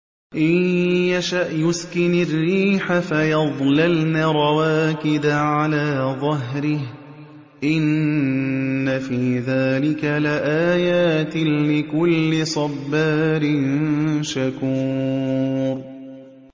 إِن يَشَأْ يُسْكِنِ الرِّيحَ فَيَظْلَلْنَ رَوَاكِدَ عَلَىٰ ظَهْرِهِ ۚ إِنَّ فِي ذَٰلِكَ لَآيَاتٍ لِّكُلِّ صَبَّارٍ شَكُورٍ